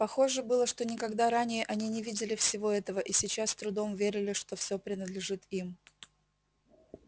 похоже было что никогда ранее они не видели всего этого и сейчас с трудом верили что всё принадлежит им